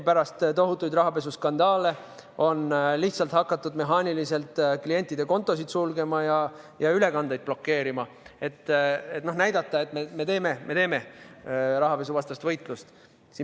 Pärast tohutuid rahapesuskandaale on lihtsalt hakatud mehaaniliselt klientide kontosid sulgema ja ülekandeid blokeerima, et näidata, et meil käib rahapesuvastane võitlus.